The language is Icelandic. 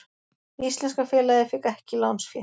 Íslenska félagið fékk ekki lánsfé